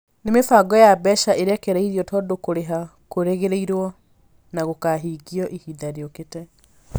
Nĩ mĩbango ya mbeca ĩrekereririo tondũ kũrĩha kũrerĩgĩrĩrũo na gũkahingio ihinda rĩũkĩte.